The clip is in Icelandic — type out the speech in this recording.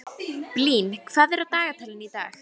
Blín, hvað er á dagatalinu í dag?